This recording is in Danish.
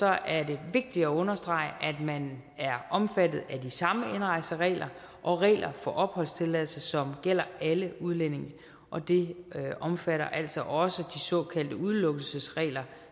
er det vigtigt at understrege at man er omfattet af de samme indrejseregler og regler for opholdstilladelse som gælder alle udlændinge og det omfatter altså også de såkaldte udelukkelsesregler